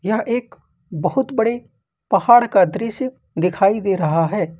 यह एक बहुत बड़े पहाड़ का दृश्य दिखाई दे रहा है।